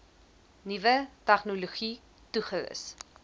nuwe tegnologie toegerus